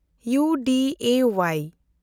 U ᱰᱤ ᱮ ᱳᱣᱟᱭ